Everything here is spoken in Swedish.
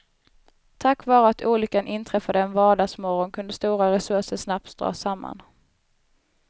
Tack vare att olyckan inträffade en vardagsmorgon kunde stora resurser snabbt dras samman.